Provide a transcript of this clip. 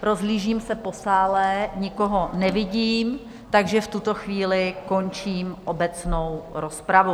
Rozhlížím se po sále, nikoho nevidím, takže v tuto chvíli končím obecnou rozpravu.